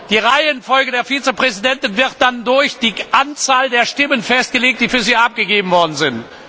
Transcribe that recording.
Die Reihenfolge der Vizepräsidenten wird dann durch die Anzahl der Stimmen festgelegt, die für sie abgegeben worden sind.